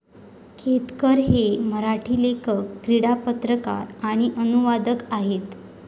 केतकर हे एक मराठी लेखक, क्रीडा पत्रकार आणि अनुवादक आहेत.